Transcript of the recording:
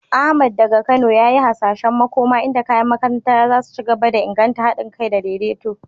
Ahmad, daga Kano, ya yi hasashen makoma inda kayan makaranta za su ci gaba da inganta hadin kai da daidaito.